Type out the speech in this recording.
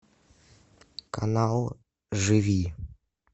канал живи